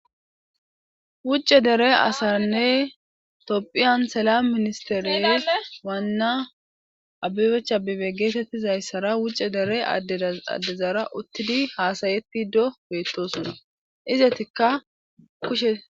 Wucce dere asarnne topphiyan sela ministeriye waanna abibechabibe geetettizayssara wucce dere addezara uttidi haasayetti do beettosona izetikka kushe.